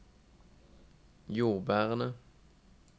jordbærene